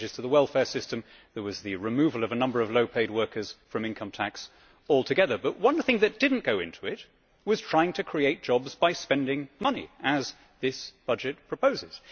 There were changes to the welfare system, there was the removal of a number of low paid workers from income tax altogether, but one of the things that did not go into it was trying to create jobs by spending money, as this budget proposes.